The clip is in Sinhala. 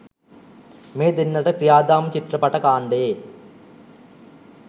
මේ දෙන්නට ක්‍රියාදාම චිත්‍රපට කාණ්ඩයේ